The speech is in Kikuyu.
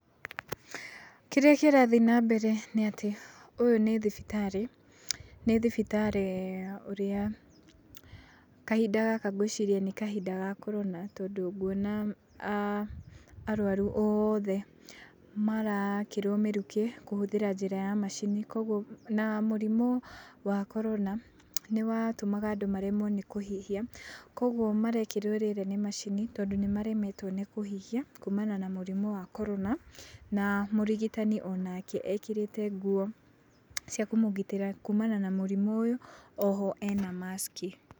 Kĩrĩa kĩrathi na mbere nĩ atĩ ũyũ nĩ thibitarĩ, nĩ thibitarĩ ũrĩa kahinda gaka ngwĩciria nĩ kahinda ga korona tondũ nguona a arũaru othe marekĩrwo mĩrukĩ kũhũthĩra njĩra ya macini kũoguo na mũrimũ wa korona nĩ watũmaga andũ maremwo nĩ kũhihia, kũoguo marekĩrwo rĩera nĩ macini tondũ nĩ maremetwo nĩ kũhihia kumana na mũrimũ wa korona na mũrigitani onake ekĩrĩte nguo cia kũmũgitĩra kumana na mũrimũ ũyũ, oho ena macki.